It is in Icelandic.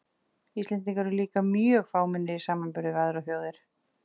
Íslendingar eru líka mjög fámennir í samanburði við aðrar þjóðir.